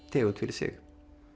tegund fyrir sig